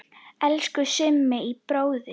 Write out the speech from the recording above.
Elsku Summi bróðir.